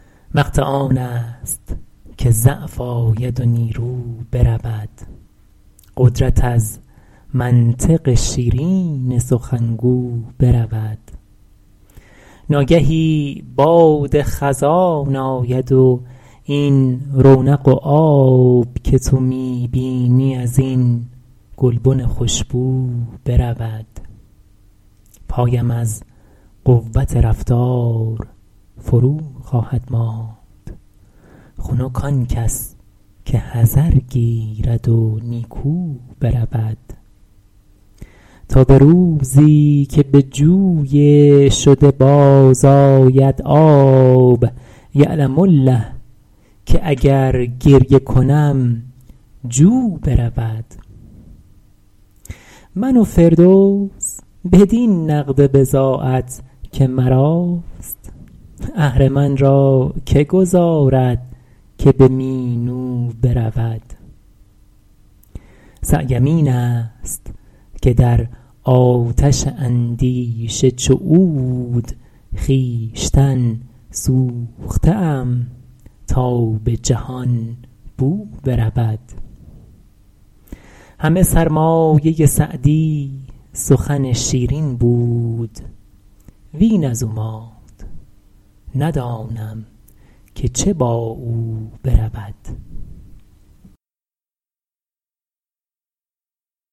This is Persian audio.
وقت آن است که ضعف آید و نیرو برود قدرت از منطق شیرین سخنگو برود ناگهی باد خزان آید و این رونق و آب که تو می بینی از این گلبن خوشبو برود پایم از قوت رفتار فرو خواهد ماند خنک آن کس که حذر گیرد و نیکو برود تا به روزی که به جوی شده باز آید آب یعلم الله که اگر گریه کنم جو برود من و فردوس بدین نقد بضاعت که مراست اهرمن را که گذارد که به مینو برود سعیم این است که در آتش اندیشه چو عود خویشتن سوخته ام تا به جهان بو برود همه سرمایه سعدی سخن شیرین بود وین از او ماند ندانم که چه با او برود